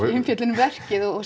í umfjöllun um verkið og